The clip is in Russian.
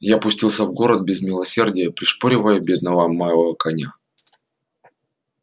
я пустился в город без милосердия пришпоривая бедного моего коня